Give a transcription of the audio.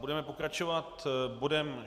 Budeme pokračovat bodem